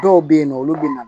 Dɔw bɛ yen nɔ olu bɛ na